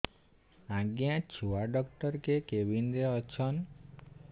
ଆଜ୍ଞା ଛୁଆ ଡାକ୍ତର କେ କେବିନ୍ ରେ ଅଛନ୍